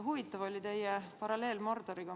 Huvitav oli teie paralleel Mordoriga.